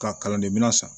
Ka kalan de minɛn san